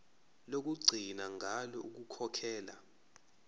lokugcina ngalo ukukhokhela